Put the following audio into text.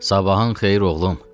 Sabahın xeyir oğlum.